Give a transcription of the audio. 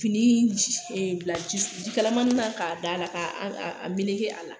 Fini bila jikalamanin na k'a d'a la , ka a a meleke a la.